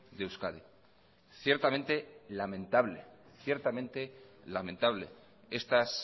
de euskadi ciertamente lamentable estas